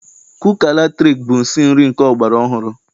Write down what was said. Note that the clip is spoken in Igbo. Kuka latrik bụ nsi nri nke ọgbara ọhụrụ.